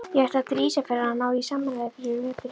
Ég ætlaði til Ísafjarðar að ná í smáræði fyrir veturinn.